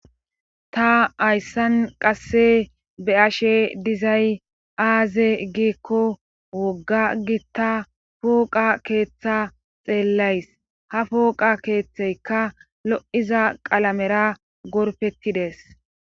Ta hayqase qase beyashe dizay azze gikko woga gita phoqa ketha xelays ha phoqe kethaykka loyzza qalamera gorpetidees.